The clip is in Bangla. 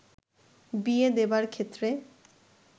বিয়ে দেবার ক্ষেত্রে